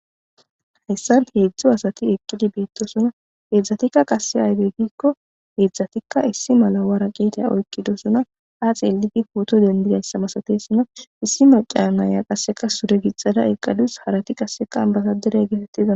hayssan heedzdzo asati eqqidi beettosuna eedzdzatikka qasse aydey giikko eedzdzatikka issi mala wara qeeta oykkidosuna a xeeliti huto dendidayssa masatesuna issi maca naaya qasseka sure gixada eqalus harati qasseka basa derey getettida